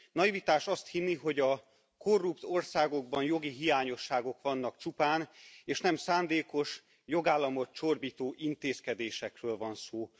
Naivitás azt hinni, hogy a korrupt országokban jogi hiányosságok vannak csupán, és nem szándékos, jogállamot csorbító intézkedésekről van szó.